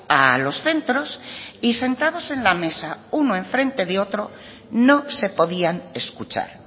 a los centros y sentados en la mesa uno en frente de otro no se podían escuchar